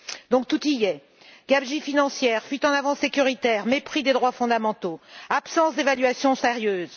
Donc, tout y est gabegie financière, fuite en avant sécuritaire, mépris des droits fondamentaux, absence d'évaluation sérieuse.